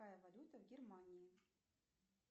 какая валюта в германии